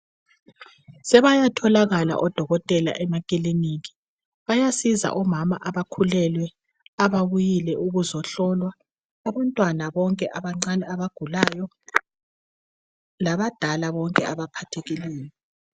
Sebeyatholakala odokotela emakiliniki bayasiza omama abakhulelwe, ababuyile ukuzohlolwa labantwana abancane bonke abagulayo labadala abaphathekileyo.